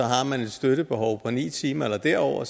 har man et støttebehov på ni timer eller derover